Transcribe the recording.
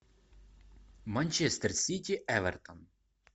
манчестер сити эвертон